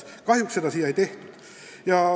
Kahjuks seda pole siia lisatud.